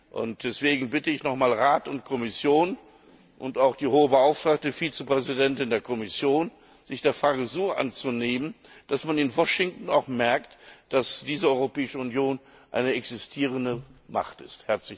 Und deswegen bitte ich nochmals Rat und Kommission und auch die Hohe Beauftragte Vizepräsidentin der Kommission, sich der Frage so anzunehmen, dass man in Washington auch merkt, dass diese Europäische Union eine existierende Macht ist.